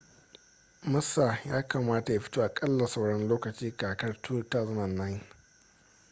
massa ya kamata ya fito aƙalla sauran lokacin kakar 2009